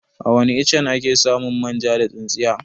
Awani iccen ake samun manja da tsintsiya?